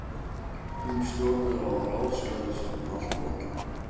Hún stjórnaði og ráðskaðist með allt og alla.